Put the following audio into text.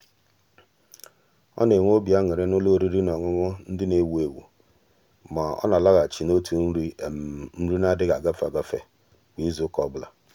ọ́ nà-ènwé obi añụrị n'ụlọ oriri na ọṅụṅụ ndị nà-èwú éwú mà ọ́ nà-álághàchí n’òtù nrí nri nà-adị́ghị́ ágafe ágafe kwa ìzù ụ́kà ọ bụla.